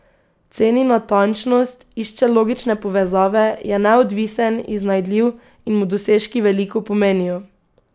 Ceni natančnost, išče logične povezave, je neodvisen, iznajdljiv in mu dosežki veliko pomenijo.